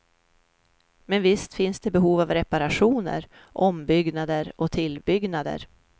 Men visst finns det behov av reparationer, ombyggnader och tillbyggnader.